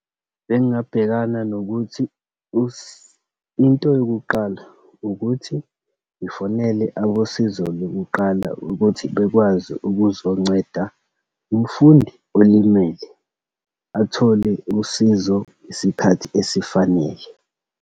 Bengingabhekana nokuthi into yokuqala ukuthi ngifonele abosizo lokuqala ukuthi bekwazi ukuzonceda umfundi olimele, athole usizo isikhathi esifanele.